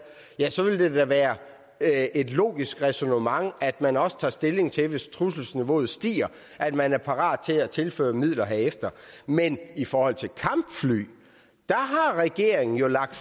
så ville det da være et logisk ræsonnement at man også tager stilling til hvis trusselsniveauet stiger at man er parat til at tilføre midler herefter men i forhold til kampfly har regeringen jo lagt